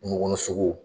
Kungo kɔnɔ sogow